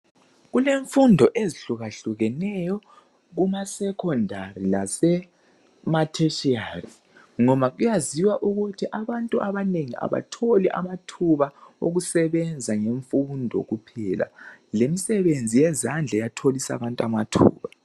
Kulemfundo ezihlukahlukaneyo kumasecondary lasema tertiary ngoba kuyaziwa ukuthi abantu abanengi abatholi amathuba okusebenza ngemfundo kuphela lemisebenzi yezandla iyatholisa abantu amathuba.